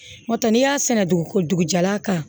N'o tɛ n'i y'a sɛnɛ dugu dugujɛ la kan